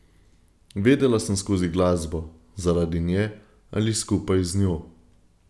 Vedela sem skozi glasbo, zaradi nje ali skupaj z njo.